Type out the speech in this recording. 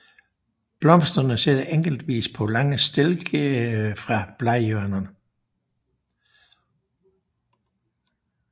Blomsterne sidder enkeltvis på lange stilke fra bladhjørnerne